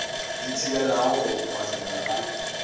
di thibelago go phohlela ga